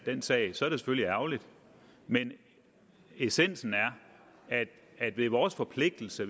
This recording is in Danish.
den sag så er det selvfølgelig ærgerligt men essensen er at det er vores forpligtelse